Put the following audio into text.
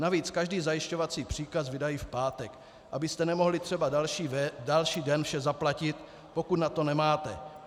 Navíc každý zajišťovací příkaz vydají v pátek, abyste nemohli třeba další den vše zaplatit, pokud na to nemáte.